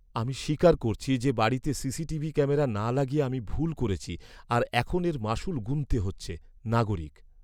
আমি স্বীকার করছি যে, বাড়িতে সিসিটিভি ক্যামেরা না লাগিয়ে আমি ভুল করেছি আর এখন এর মাশুল গুণতে হচ্ছে। নাগরিক